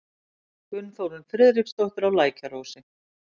Gunnþórunn Friðriksdóttir á Lækjarósi